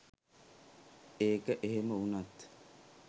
ඒක එහෙම උනත්